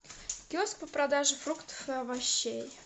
киоск по продаже фруктов и овощей